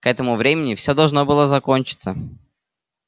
к этому времени все должно было закончиться